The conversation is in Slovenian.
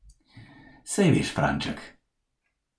Sej veš, Franček.